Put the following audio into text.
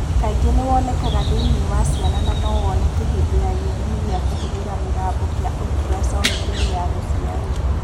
Kaingĩ nĩ ũkoragũo thĩinĩ wa ciana na no woneke hĩndĩ ya gĩthimi kĩa kũhũthĩra mũgambo kĩa ũltrasound mbere ya gũciarwo.